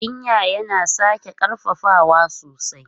Jinja yana sake ƙarfafawa sosai.